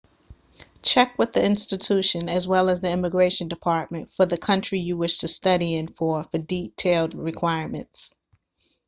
check with the institution as well as the immigration department for the country you wish to study in for detailed requirements